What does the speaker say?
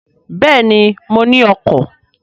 Béèni, mo ní ọkọ̀